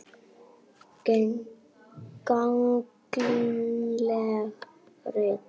Gagnleg rit